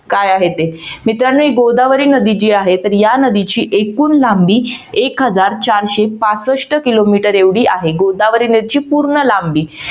काय आहे ते मित्रानो ही गोदावरी नदी जी आहे तर या नदीची एकूण लांबी एक हजार चारशे पासष्ट किलोमीटर एवढी आहे. गोदावरी नदीची पूर्ण लांबी